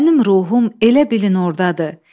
mənim ruhum elə bilin ordadır.